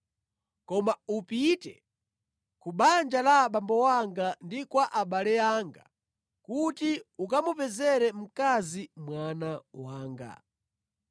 koma upite ku banja la abambo anga ndi kwa abale anga kuti ukamupezere mkazi mwana wanga.’ ”